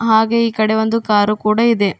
ಹಾಗೇ ಈ ಕಡೆ ಒಂದು ಕಾರು ಕೂಡ ಇದೆ.